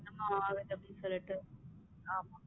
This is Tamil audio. நான்